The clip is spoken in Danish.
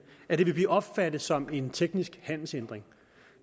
at det vil blive opfattet som en teknisk handelshindring